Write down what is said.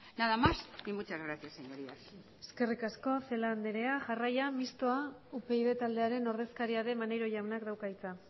nada más y muchas gracias señorías eskerrik asko celaá andrea jarraian mixtoa upyd taldearen ordezkaria den maneiro jaunak dauka hitza